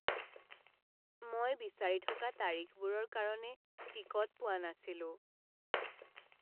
মই বিচাৰি থকা তাৰিখবোৰৰ কাৰণে টিকট পোৱা নাছিলোঁ।